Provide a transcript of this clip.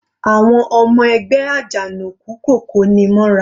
Àwọn ọmọ ẹgbẹ́ Ajanoku kò koni mọ́ra.